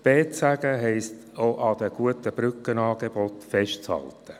B zu sagen heisst auch, an den guten Brückenangeboten festzuhalten.